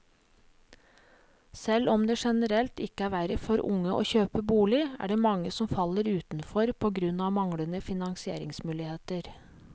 Selv om det generelt ikke er verre for unge å kjøpe bolig, er det mange som faller utenfor på grunn av manglende finansieringsmuligheter.